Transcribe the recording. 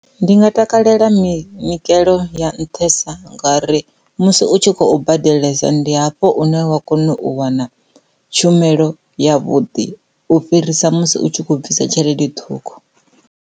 Ndi nga takalela minyikelo ya nṱhesa nga uri musi u tshi khou badelisa ndi hafho une wa kona u wana tshumelo ya vhuḓi u fhirisa musi u tshi kho bvisa tshelede ṱhukhu.